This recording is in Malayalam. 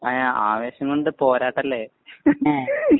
ആവേശം കൊണ്ട് പോരാട്ടല്ലേ.